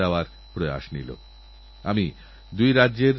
আমার প্রিয় দেশবাসী কিছুদিন আগেই আমরা খরা নিয়েচিন্তাগ্রস্ত ছিলাম